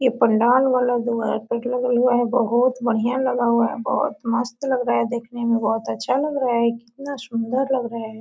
यह पंडाल वाला बहुत बढ़िया लगा हुआ है बहुत मस्त लग रहा है देखने में बहुत अच्छा लग रहा है कितना सुंदर लग रहा है।